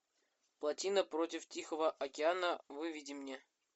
плотина против тихого океана выведи мне